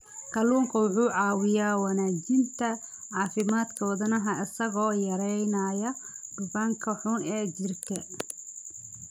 Kalluunku wuxuu caawiyaa wanaajinta caafimaadka wadnaha isagoo yareynaya dufanka xun ee jirka.